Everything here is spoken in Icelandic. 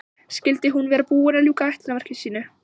Skyldi hún vera búin að ljúka ætlunarverki sínu?